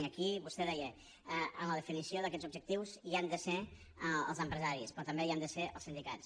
i aquí vostè deia en la definició d’aquests objectius hi han de ser els empresaris però també hi han de ser els sindicats